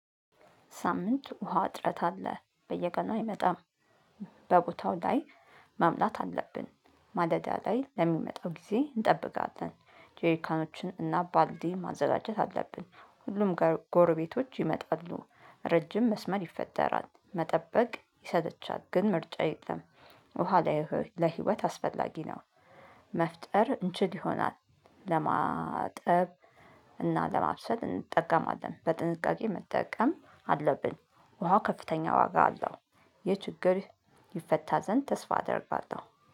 ሳምንት ውሃ እጥረት አለ፣ በየቀኑ አይመጣም። በቦታው ላይ መምላት አለብን፣ ማለዳ ላይ ለሚመጣው ጊዜ እንጠብቃለን። ጄሪካኖችን እና ባልዲ ማዘጋጀት አለብን። ሁሉም ጎርቤቶች ይመጣሉ። ረጅም መስመር ይፈጠራል፤ መጠበቅ ይሰለቻል፣ ግን ምርጫ የለም። ውሃ ላይ፤ ለህይወት አስፈላጊ ነው። መፍጠር እንችል ይሆናል፣ ለማጠብ እና ለማብሰል እንጠቀማለን። በጥንቃቄ መጠቀም አለብን። ውሃ ከፍተኛ ዋጋ አለው። ይህ ችግር ይፈታ ዘንድ ተስፋ አደርጋለሁ።